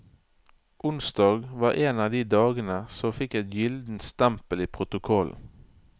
Onsdag var en av de dagene som fikk et gyllent stempel i protokollen.